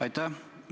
Aitäh!